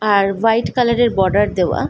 আর white colour এর border দেওয়া।